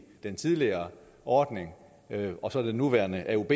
den tidligere ordning og så i den nuværende aub